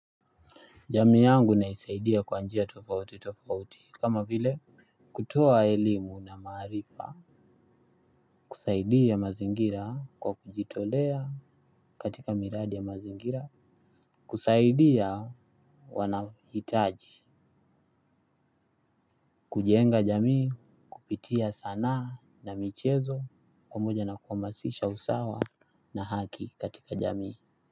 Jamii yangu naisaidia kwa njia tofauti tofauti kama vile kutoa elimu na maarifa. Kusaidia mazingira kwa kujitolea katika miradi ya mazingira. Kusaidia wanao hitaji. Kujenga jamii kupitia sana na michezo pamoja na kuhamasisha usawa na haki katika jamii.